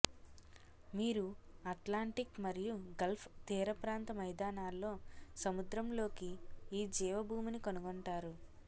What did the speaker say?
మీరు అట్లాంటిక్ మరియు గల్ఫ్ తీరప్రాంత మైదానాల్లో సముద్రంలోకి ఈ జీవభూమిని కనుగొంటారు